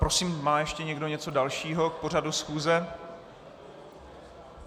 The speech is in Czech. Prosím, má ještě někdo něco dalšího k pořadu schůze?